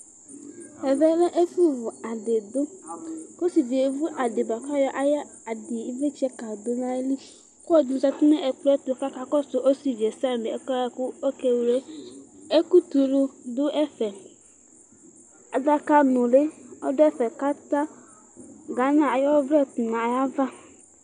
Ɛvɛlɛ ɛfʋ vʋ adidʋ kʋ ɔsivie evʋ ayʋ adi bʋakʋ aya ayʋ adibkadʋ nʋ ayili kʋ ɔlɔdi zati nʋ ɛkplɔɛ tʋ sami kakɔsʋ osivi yɛ sami ɛsɛyɛ ɔkewle ɛkʋtɛ ulu dʋ ɛfɛ adaka nuli dʋ ɛfe kʋ ata Gana ayʋ ɔwlɛ tʋ nʋ ayʋ ava